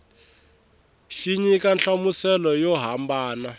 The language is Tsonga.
xi nyika nhlamuselo yo hambana